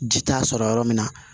Ji t'a sɔrɔ yɔrɔ min na